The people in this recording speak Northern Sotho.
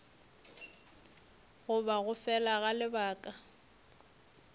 goba go fela ga lebaka